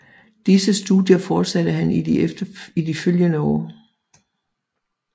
Disse studier fortsatte han i de følgende år